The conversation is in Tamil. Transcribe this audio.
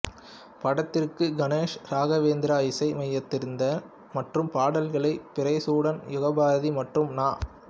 படத்திற்கு கணேஷ் ராகவேந்திரா இசையமைத்திருந்தார் மற்றும் பாடல்களை பிறைசூடன் யுகபாரதி மற்றும் நா